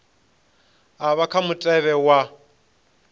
a vha kha mutevhe wa